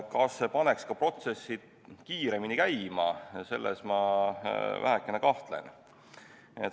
Kas see paneks ka protsessid kiiremini käima, selles ma vähekene kahtlen.